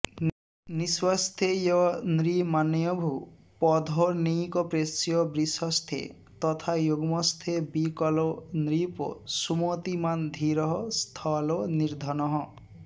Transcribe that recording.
निस्वस्थेयनृमान्यभूपधनिकप्रेष्यो वृषस्थे तथा युग्मस्थे विकलो नृपः सुमतिमान् धीरः खलो निर्धनः